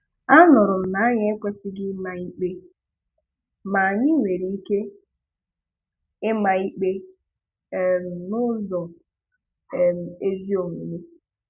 A nụrụ na anyị ekwesịghị ịma ikpe, ma anyị nwere ike ịma ikpe um n'ụzọ um ezi omume.